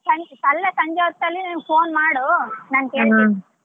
ಸಂ~ ಅಲ್ಲ ಸಂಜೆ ಹೊತ್ತಲ್ಲಿ phone ಮಾಡು ನಾನ್ ಕೇಳ್ತೀನಿ.